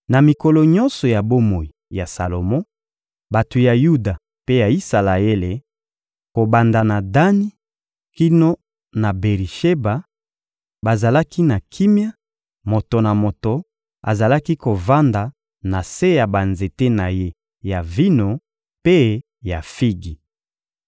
Na mikolo nyonso ya bomoi ya Salomo, bato ya Yuda mpe ya Isalaele, kobanda na Dani kino na Beri-Sheba, bazalaki na kimia, moto na moto azalaki kovanda na se ya banzete na ye ya vino mpe ya figi.